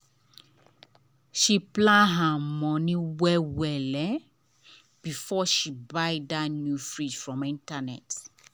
she plan her money well well before she buy that new fridge from internet.